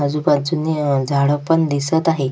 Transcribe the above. आजूबाजूनी झाड पण दिसत आहेत.